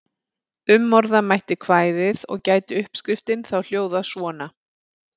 Umorða mætti kvæðið og gæti uppskriftin þá hljóðað svona: